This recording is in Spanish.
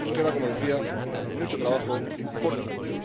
Nos queda, como decía, mucho trabajo por delante.